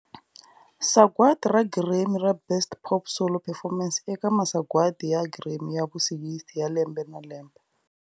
Sagwadi ra Grammy ra Best Pop Solo Performance eka Masagwadi ya Grammy ya vu 60 ya Lembe na Lembe.